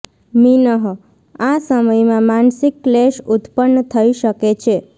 મીનઃ આ સમયમાં માનસિક ક્લેશ ઉત્પન્ન થઈ શકે છે